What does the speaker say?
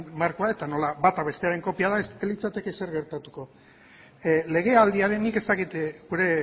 markoa eta nola bata bestearen kopia den ez litzateke ezer gertatuko legealdian nik ez dakit gure